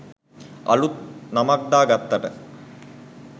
අළුත් නමක් දා ගත්තට